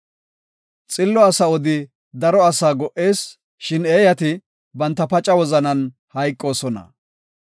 Xillo asa odi daro asaa go77ees; shin eeyati banta paca wozanan hayqoosona.